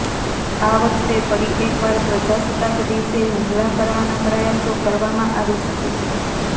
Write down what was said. આ વખતે ફરી એકવાર પ્રજાસત્તાક દિવસે હુમલા કરવાના પ્રયાસો કરવામાં આવી શકે છે